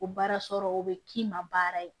O baara sɔrɔ o bɛ k'i ma baara ye